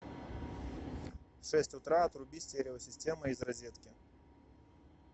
в шесть утра отруби стереосистема из розетки